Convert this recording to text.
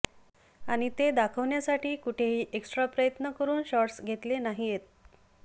आणि ते दाखवण्यासाठी कुठेही एक्सट्रा प्रयत्न करून शॉट्स घेतले नाहीयेत